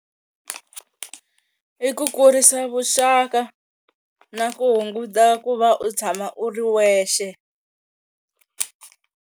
I ku kurisa vuxaka na ku hunguta ku va u tshama u ri wexe.